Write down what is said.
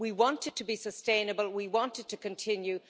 We want it to be sustainable, we wanted it to continue.